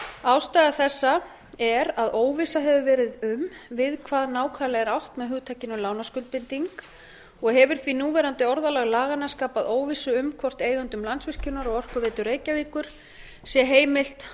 ástæða þessa er að óvissa hefur verið um við hvað nákvæmlega er átt með hugtakinu lánaskuldbinding og hefur því núverandi orðalag laganna skapað óvissu um hvort eigendum landsvirkjunar og orkuveitu reykjavíkur sé heimilt